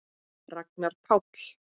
Ragnar Páll.